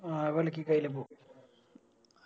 പോവൂ